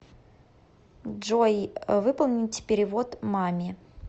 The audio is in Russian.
джой выполнить перевод маме